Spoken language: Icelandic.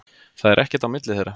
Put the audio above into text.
Það er ekkert á milli þeirra.